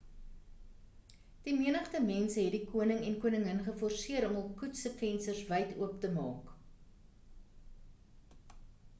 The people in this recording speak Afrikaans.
die menigte mense het die koning en koningin geforseer om hul koets se vensters wyd oop te maak